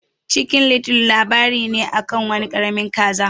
Chicken little labari ne akan wani karamin kaza.